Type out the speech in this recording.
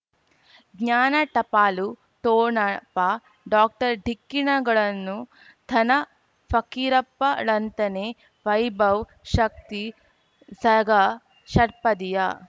ಜ್ಞಾನ ಟಪಾಲು ಠೊಣಪ ಡಾಕ್ಟರ್ ಢಿಕ್ಕಿ ಣಗಳನು ಧನ ಫಕೀರಪ್ಪ ಳಂತಾನೆ ವೈಭವ್ ಶಕ್ತಿ ಝಗಾ ಷಟ್ಪದಿಯ